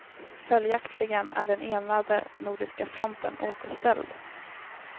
Följaktligen är den enade nordiska fronten återställd.